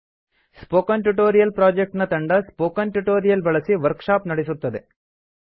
spoken tutorial project ನ ತಂಡ spoken tutorial ಬಳಸಿ ವರ್ಕ್ ಶಾಪ್ ನಡೆಸುತ್ತದೆ